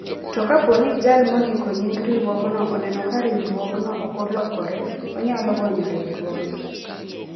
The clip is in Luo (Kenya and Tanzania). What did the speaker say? To kapo ni jal mondiko nying riwruogno oneno ka riwruogno okolokore, onyalo gonyo riwruogno.